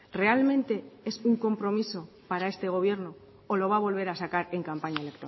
realmente es un compromiso para este gobierno o lo va a volver a sacar en campaña